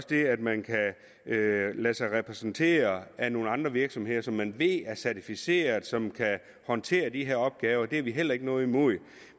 det at man kan lade sig repræsentere af nogle andre virksomheder som man ved er certificerede og som kan håndtere de her opgaver det har vi heller ikke noget imod